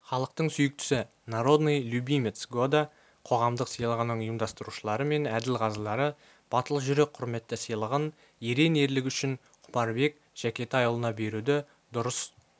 халықтың сүйіктісі народный любимец года қоғамдық сыйлығының ұйымдастырушылары мен әділқазылары батыл жүрек құрметті сыйлығын ерен ерлігі үшін құмарбек жәкетайұлына беруді дұрыс